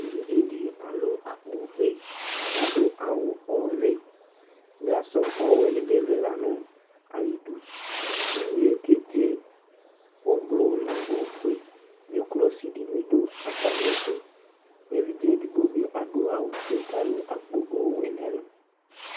Evidze di alu akpo vɛ kadu awu ɔvɛ ɔwɛ dibi lila nu ayidu inye kedze nu ofue dzuklɔ si nu bi du atamiɛtu evidze edigbo dibi adu awu fue ku alu akpo ɔwɛ nu ɛlu